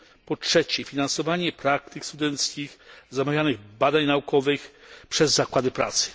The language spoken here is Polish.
Po trzecie finansowanie praktyk studenckich i zamawianych badań naukowych przez zakłady pracy.